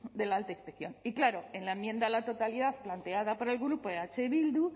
de de la alta inspección y claro en la enmienda a la totalidad planteada por el grupo eh bildu